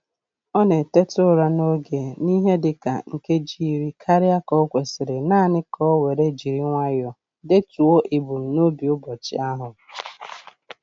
Ọ na-eteta ụra n'oge n'ihe dịka nkeji iri karịa ka o kwesịrị naanị ka o were jiri nwayọ detuo ebumnobi ụbọchị ahụ.